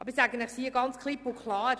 Aber ich sage es Ihnen klipp und klar: